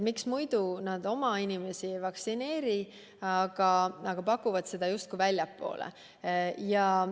Miks muidu nad oma inimesi ei vaktsineeri, aga pakuvad seda justkui väljapoole?